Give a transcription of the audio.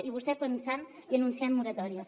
i vostè pensant i anunciant moratòries